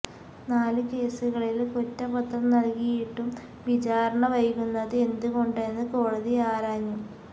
നാലു കേസുകളില് കുറ്റപത്രം നല്കിയിട്ടും വിചാരണ വൈകുന്നത് എന്തുകൊണ്ടെന്ന് കോടതി ആരാഞ്ഞു